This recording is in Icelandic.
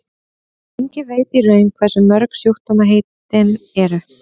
enginn veit í raun hversu mörg sjúkdómaheitin eru